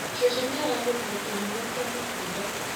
Cucu nĩaragũrire kĩnyuo kĩa matunda